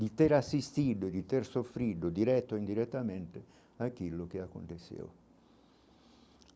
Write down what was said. de ter assistido, de ter sofrido direto ou indiretamente aquilo que aconteceu.